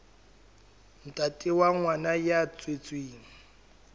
ntate wa ngwana ya tswetsweng